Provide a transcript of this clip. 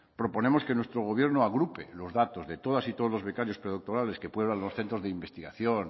proponemos que nuestro gobierno agrupe los datos de todas y todos los becarios predoctorales que pueblan los centros de investigación